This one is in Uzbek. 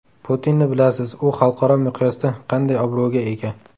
Putinni bilasiz, u xalqaro miqyosda qanday obro‘ga ega.